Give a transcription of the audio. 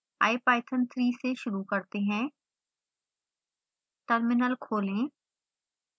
ipython3 से शुरू करते हैं